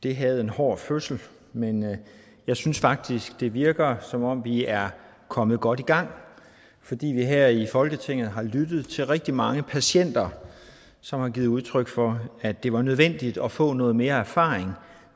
det havde en hård fødsel men jeg synes faktisk det virker som om vi er kommet godt i gang fordi vi her i folketinget har lyttet til rigtig mange patienter som har givet udtryk for at det var nødvendigt at få noget mere erfaring